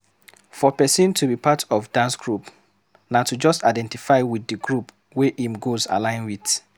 For person to be part of dance group, na to just identify with di group wey im goals align with